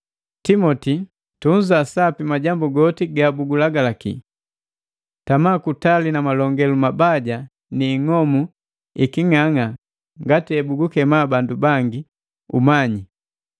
Timoti, tunza sapi majambu goti gabulagalaki. Tama kutali na malongelu mabaja ni ing'omu iking'ang'a ngati hebugukema bandu bangi, “Umanyi.”